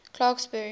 clarksburry